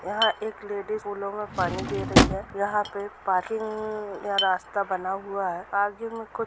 यहा एक लेडिस फूलो में पानी दे रही है यहाँ पे पार्किंग का रास्ता बना हुआ है आगे में कु--